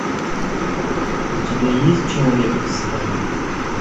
у тебя есть человек из стали